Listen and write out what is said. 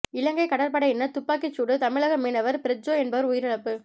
இலங்கை கடற்படையினர் துப்பாக்கிச்சூடு தமிழக மீனவர் பிரிட்ஜோ என்பவர் உயிரிழப்பு